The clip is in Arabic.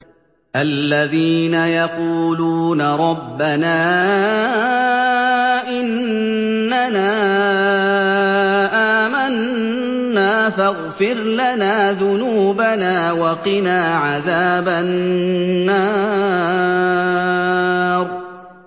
الَّذِينَ يَقُولُونَ رَبَّنَا إِنَّنَا آمَنَّا فَاغْفِرْ لَنَا ذُنُوبَنَا وَقِنَا عَذَابَ النَّارِ